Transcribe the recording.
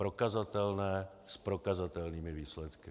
Prokazatelné, s prokazatelnými výsledky.